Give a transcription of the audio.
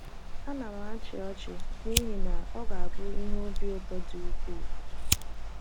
Ana m achị ọchị n’ihi na ọ ga - abụ ihe obi ụtọ dị ukwụụ